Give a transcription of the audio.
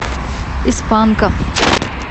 из панка